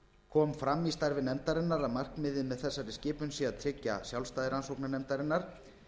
kom fram í starfi nefndarinnar að markmiðið með þessari skipun sé að tryggja sjálfstæði rannsóknarnefndarinnar